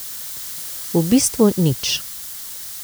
V bistvu nič.